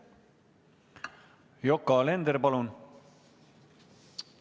Yoko Alender, palun!